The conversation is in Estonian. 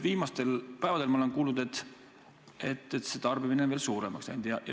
Viimastel päevadel ma olen kuulnud, et tarbimine on veelgi suuremaks läinud.